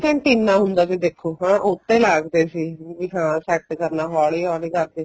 antenna ਹੁੰਦਾ ਸੀ ਦੇਖੋ ਉਹ੍ਤੇ ਲੱਗਦੇ ਸੀ set ਕਰਨ ਹੋਲੀ ਹੋਲੀ ਕਰਕੇ